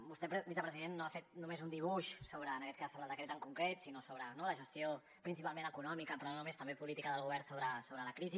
vostè vicepresident no ha fet només un dibuix en aquest cas sobre el decret en concret sinó sobre la gestió principalment econòmica però no només també política del govern sobre la crisi